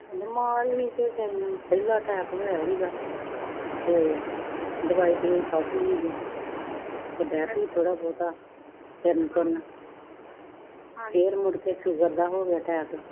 ਮਾਂ ਉਦੀ ਨੂੰ ਪਹਿਲਾ attack ਹੋਇਆ ਸੀਗਾ ਤੇ ਦਵਾਈ ਦੁਈ ਖਾਦੀ ਸੀਗੀ attack ਸੀ ਥੋੜਾ ਬਹੁਤਾ ਫਿਰਨ ਤੁਰਨ ਫਿਰ ਮੁੜ ਕੇ sugar ਦਾ ਹੋ ਗਯਾ attack